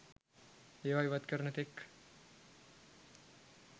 ඒවා ඉවත් කරන තෙක්